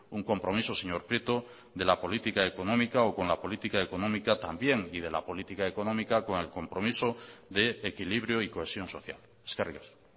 un compromiso señor prieto de la política económica o con la política económica también y de la política económica con el compromiso de equilibrio y cohesión social eskerrik asko